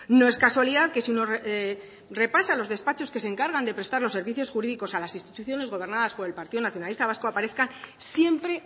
no es casualidad que si uno repasa los despachos que se encargan de prestar los servicios jurídicos a las instituciones gobernadas por el partido nacionalista vasco aparezca siempre